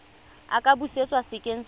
a ka busetswa sekeng sa